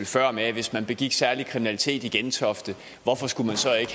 før om at hvis man begik særlig kriminalitet i gentofte hvorfor skulle man så ikke